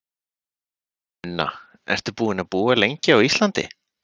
Sunna: Ertu búinn að búa lengi á Íslandi?